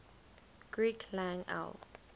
greek lang el